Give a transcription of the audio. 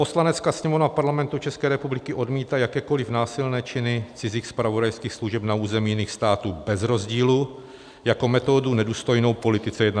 Poslanecká sněmovna Parlamentu České republiky odmítá jakékoliv násilné činy cizích zpravodajských služeb na území jiných států bez rozdílu jako metodu nedůstojnou politice 21. století.